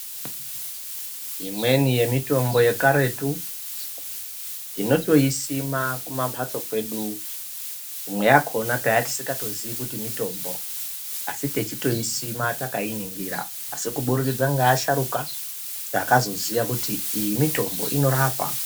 Imweni yemitombo yekaretu tinotoisima kumambatso kwedu imwe yakona taatisikatoziyi kuti mitombo. Asi teitoisima takainingira. Asi kuburikidza ngeasharuka, takazoziya kuti iyi mitombo, inorapa.